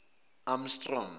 amstrong